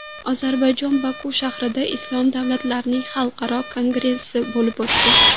Ozarbayjonning Boku shahrida Islom davlatlarining xalqaro kongressi bo‘lib o‘tdi.